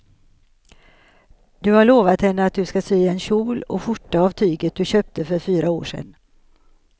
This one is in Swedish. Du har lovat henne att du ska sy en kjol och skjorta av tyget du köpte för fyra år sedan.